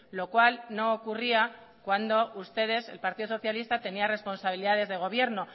lo cual no ocurría cuando ustedes el partido socialista tenían responsabilidades de gobierno